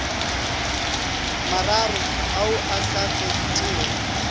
mararo ao a sa fetego